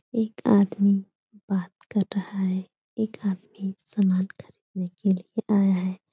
एक आदमी बात कर रहा है । एक आदमी स्नान करने के लिए आया है ।